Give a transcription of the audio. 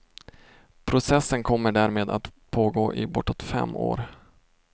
Processen kommer därmed att pågå i bortåt fem år.